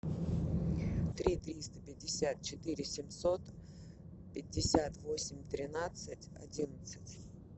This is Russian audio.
три триста пятьдесят четыре семьсот пятьдесят восемь тринадцать одиннадцать